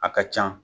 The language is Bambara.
A ka can